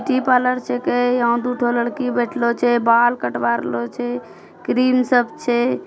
T parlour छकै। यहाँ दुठो लड़की बेठलो छे बाल कटवारलो छे। क्रीम सब छे।